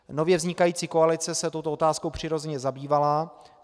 Nově vznikající koalice se touto otázkou přirozeně zabývala.